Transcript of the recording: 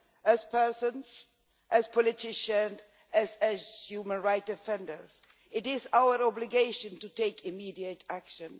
As people, as politicians, as human rights defenders, it is our obligation to take immediate action.